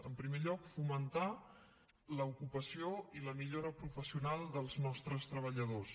en primer lloc fomentar l’ocupació i la millora professional dels nostre treballadors